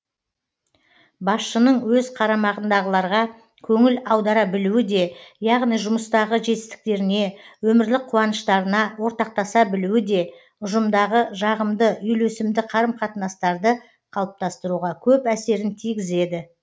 басшының өз қарамағындағыларға көңіл аудара білуі де яғни жұмыстағы жетістіктеріне өмірлік қуаныштарына ортақтаса білуі де ұжымдағы жағымды үйлесімді қарым қатынастарды қалыптастыруға көп әсерін тигізеді